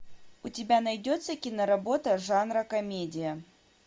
у тебя найдется киноработа жанра комедия